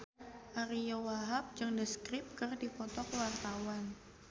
Ariyo Wahab jeung The Script keur dipoto ku wartawan